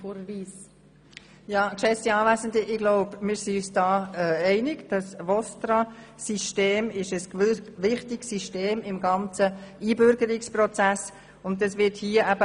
Ich glaube, wir sind uns darin einig, dass das VOSTRA-System im ganzen Einbürgerungsprozess wichtig ist.